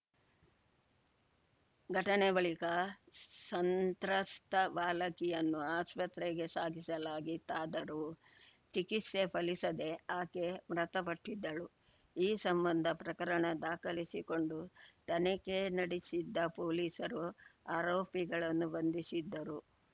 ಘಟನೆ ಬಳಿಕ ಸಂತ್ರಸ್ತ ಬಾಲಕಿಯನ್ನು ಆಸ್ಪತ್ರೆಗೆ ಸಾಗಿಸಲಾಗಿತ್ತಾದರೂ ಚಿಕಿತ್ಸೆ ಫಲಿಸದೇ ಆಕೆ ಮೃತಪಟ್ಟಿದ್ದಳು ಈ ಸಂಬಂಧ ಪ್ರಕರಣ ದಾಖಲಿಸಿಕೊಂಡು ತನಿಖೆ ನಡೆಸಿದ್ದ ಪೊಲೀಸರು ಆರೋಪಿಗಳನ್ನು ಬಂಧಿಸಿದ್ದರು